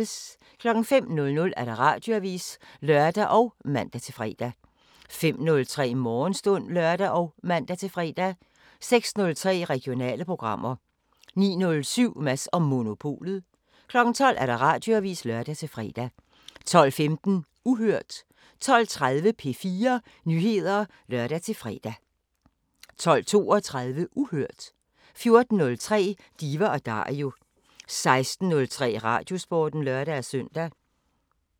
05:00: Radioavisen (lør og man-fre) 05:03: Morgenstund (lør og man-fre) 06:03: Regionale programmer 09:07: Mads & Monopolet 12:00: Radioavisen (lør-fre) 12:15: Uhørt 12:30: P4 Nyheder (lør-fre) 12:32: Uhørt 14:03: Diva & Dario 16:03: Radiosporten (lør-søn)